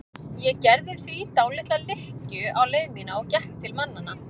Ég gerði því dálitla lykkju á leið mína og gekk til mannanna.